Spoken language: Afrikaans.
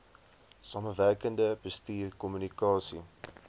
samewerkende bestuur kommunikasie